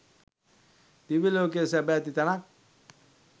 දිව්‍ය ලෝකය සැප ඇති තැනක්.